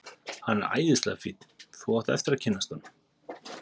Hann er æðislega fínn. þú átt eftir að kynnast honum.